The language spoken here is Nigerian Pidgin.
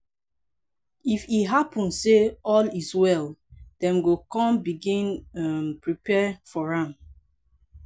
if e happun say all is well dem go con begin um prepare for am